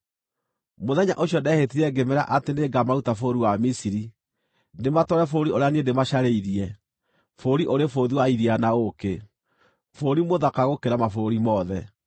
Mũthenya ũcio ndehĩtire ngĩmeera atĩ nĩngamaruta bũrũri wa Misiri, ndĩmatware bũrũri ũrĩa niĩ ndĩmacarĩirie, bũrũri ũrĩ bũthi wa iria na ũũkĩ, bũrũri mũthaka gũkĩra mabũrũri mothe.